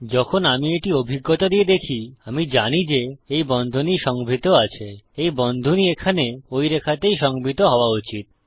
যখন আমি এটি অভিজ্ঞতা দিয়ে দেখি আমি জানি যে এই বন্ধনী সংভৃত আছে ওই বন্ধনী এখানে ঐ রেখাতেই সংভৃত হওযা উচিত